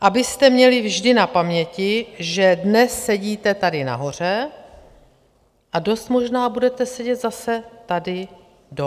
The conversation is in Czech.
abyste měli vždy na paměti, že dnes sedíte tady nahoře a dost možná budete sedět zase tady dole.